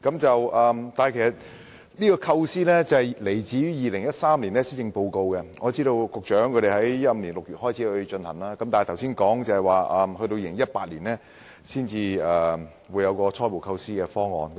這構思來自2013年的施政報告，據我所知，局長在2015年6月開始進行研究，但按局長剛才所說，要在2018年才會有初步構思方案。